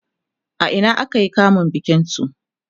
a Ina aka yi kamun bikin su?